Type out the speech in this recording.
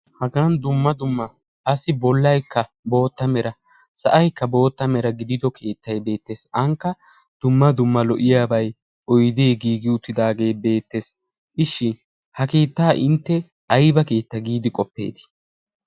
hagan dumma dumma assi bollaikka bootta mera sa'aykka bootta mera gidido keettai beettees. aanikka dumma dumma lo'iyaabai woyde giigiuttidaagee beettees ishshin ha kiittaa intte aiba keetta giidi qoppeetii?